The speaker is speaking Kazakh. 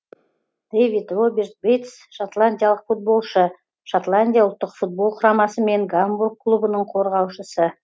дэвид роберт бейтс шотландиялық футболшы шотландия ұлттық футбол құрамасы мен гамбург клубының қорғаушысы